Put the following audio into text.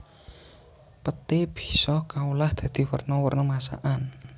Peté bisa kaolah dadi werna werna masakan